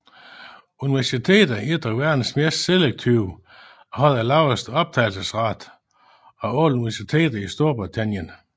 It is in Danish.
Universitetet er et af verdens mest selektive og har den laveste optagelsesrate af alle universiteter i Storbritannien